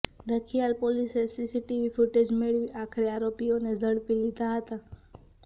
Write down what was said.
રખિયાલ પોલીસે CCTV footage મેળવી આખરે આરોપીઓને ઝડપી લીધા હતા